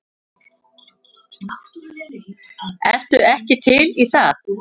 Ertu ekki til í það?